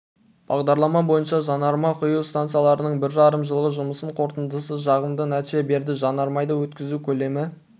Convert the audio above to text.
бағдарлама бойынша жанармай құю стансаларының бір жарым жыл жұмысының қорытындысы жағымды нәтиже берді жанармайды өткізу көлемі